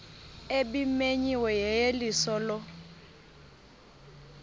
ebimenyiwe yeyeliso lo